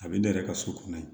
A bɛ ne yɛrɛ ka so kɔnɔ yen